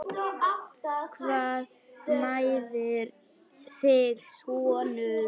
Hvað mæðir þig sonur?